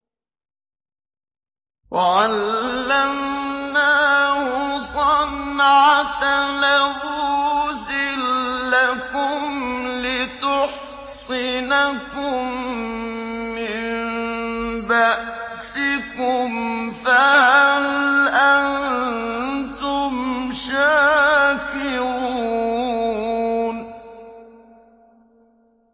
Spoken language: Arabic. وَعَلَّمْنَاهُ صَنْعَةَ لَبُوسٍ لَّكُمْ لِتُحْصِنَكُم مِّن بَأْسِكُمْ ۖ فَهَلْ أَنتُمْ شَاكِرُونَ